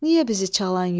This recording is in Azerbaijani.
Niyə bizi çalan yox?